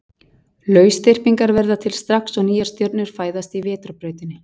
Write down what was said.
lausþyrpingar verða til strax og nýjar stjörnur fæðast í vetrarbrautinni